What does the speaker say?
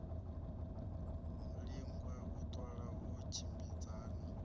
lingwa u ṱola u tshimbidzana